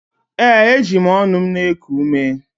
Ee, eji m ọnụ m na-eku ume.